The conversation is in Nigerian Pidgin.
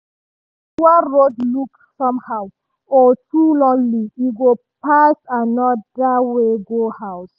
if the usual road look somehow or too lonely e go pass another way go house.